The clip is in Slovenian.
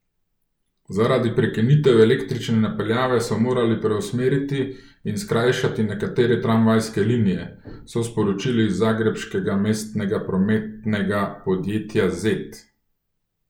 Zaradi prekinitev električne napeljave so morali preusmeriti in skrajšati nekatere tramvajske linije, so sporočili iz zagrebškega mestnega prometnega podjetja Zet.